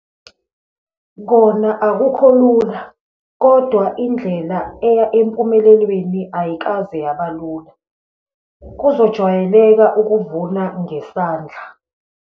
Kona akukho lula, kodwa indlela eya empumelelweni ayikaze yaba lula. Kuzojwayeleka ukuvuna ngesandla.